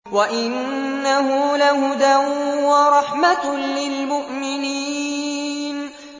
وَإِنَّهُ لَهُدًى وَرَحْمَةٌ لِّلْمُؤْمِنِينَ